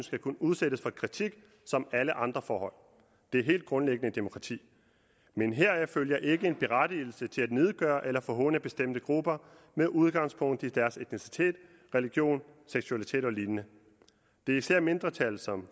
skal kunne udsættes for kritik som alle andre forhold det er helt grundlæggende i et demokrati men heraf følger ikke en berettigelse til at nedgøre eller forhåne bestemte grupper med udgangspunkt i deres etnicitet religion seksualitet og lignende det er især mindretal som